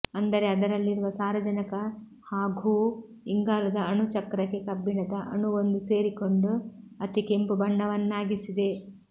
ಅಂದರೆ ಅದರಲ್ಲಿರುವ ಸಾರಜನಕ ಹಾಘೂ ಇಂಗಾಲದ ಅಣುಚಕ್ರಕ್ಕೆ ಕಬ್ಬಿಣದ ಅಣುವೊಂದು ಸೇರಿಕೊಂಡು ಅತಿ ಕೆಂಪುಬಣ್ಣವನ್ನಾಗಿಸಿದೆ